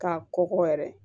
K'a kɔkɔ yɛrɛ